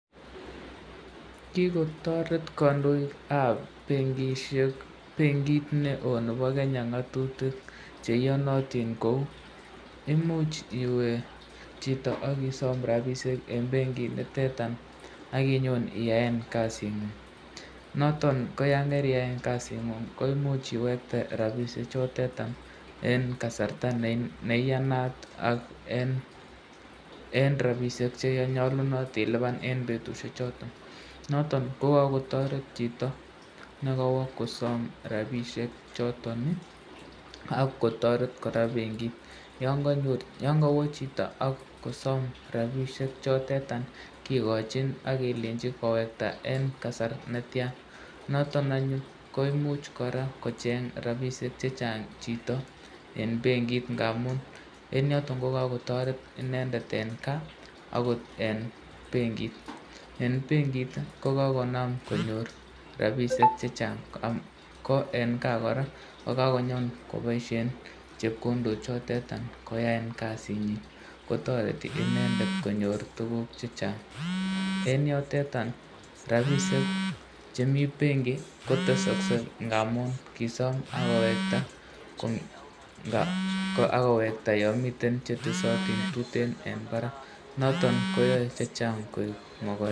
Kokotoret benkit neo neboo kenya ngatutik kou imuch iwee chito akisom rabishek akinyoo iyaee kasit nguuk natok komuch iwekte rabishek eng benkit